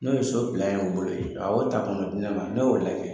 N'o ye so y'u bolo yen a y'o ta ka n'o di ne ma ne y'o lajɛ.